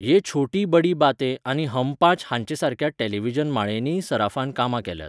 ये छोटी बडी बातें आनी हम पांच हांचेसारक्या टॅलिव्हिजन माळेंनीय सराफान कामां केल्यांत.